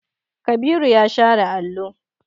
Kabiru ya share allo.